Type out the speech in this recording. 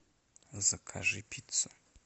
закажи пиццу